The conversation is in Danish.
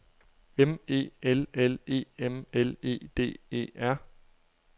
M E L L E M L E D E R